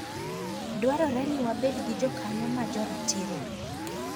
Dwarore ni wabed gi jokanyo ma joratiro.